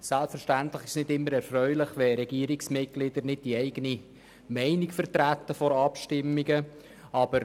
Selbstverständlich ist es nicht immer erfreulich, wenn Regierungsmitglieder vor einer Abstimmung nicht die Meinung vertreten, die man selber hat.